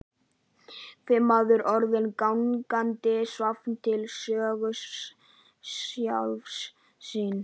Hver maður orðinn gangandi safn til sögu sjálfs sín.